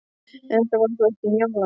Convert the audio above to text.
En þetta var þá ekki Njála.